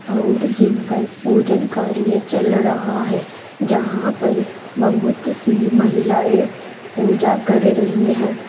और जिन पर पूजन कार्य चल रहा है जहां पर बहुत सी महिलाएं पूजा कर रही हैं।